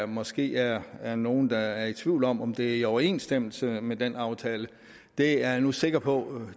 måske er er nogle der er i tvivl om om det er i overensstemmelse med den aftale det er jeg nu sikker på